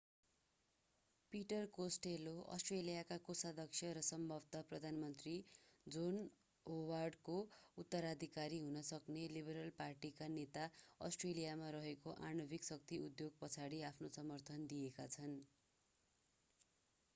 Peter Costello अस्ट्रेलियाका कोषाध्यक्ष र सम्भवतः प्रधानमन्त्री जोन होवार्डको उत्तराधिकारी हुन सक्ने लिबरल पार्टीका नेताले अस्ट्रेलियामा रहेको आणविक शक्ति उद्योगका पछाडि आफ्नो समर्थन दिएका छन्